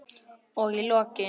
Og í lokin.